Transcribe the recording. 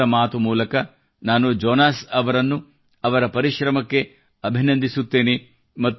ಮನದ ಮಾತು ಮೂಲಕ ನಾನು ಜೊನಾಸ್ ಅವರನ್ನು ಅವರ ಪರಿಶ್ರಮಕ್ಕೆ ಅಭಿನಂದಿಸುತ್ತೇನೆ